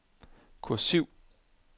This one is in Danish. kursiv